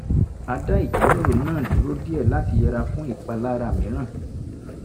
a dá ìjíròrò náà dúró díẹ̀ láti yẹra fún ìpalára mìíràn